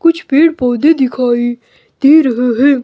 कुछ पेड़ पौधे दिखाई दे रहे है।